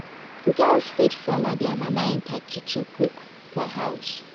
Girls fit follow their mama enter kitchen cook for house